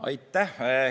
Aitäh!